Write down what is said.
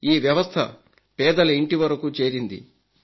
ఈ వ్యవస్థ పేదల ఇంటి వరకు చేరింది